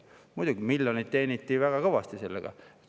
Muidugi, miljoneid teeniti väga kõvasti sellega.